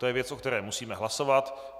To je věc, o které musíme hlasovat.